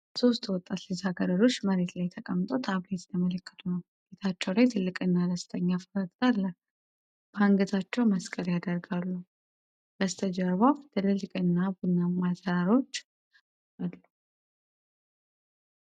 ሶስት ወጣት ልጃገረዶች መሬት ላይ ተቀምጠው ታብሌት እየተመለከቱ ነው። ፊታቸው ላይ ትልቅና ደስተኛ ፈገግታ አለ፣ በአንገታቸው መስቀል ያደርጋሉ። በስተጀርባ ትልልቅና ቡናማ ተራሮች አሉ።